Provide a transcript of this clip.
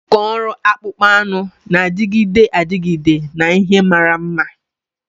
Nkà ọrụ akpụkpọ anụ na-adịgide adịgide na ihe mara mma.